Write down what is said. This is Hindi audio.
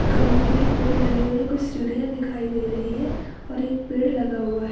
गमले की पेड़ लगी हुई हैं कुछ सीढ़िया दिखाई दे रही हैं और एक पेड़ लगा हुआ हैं।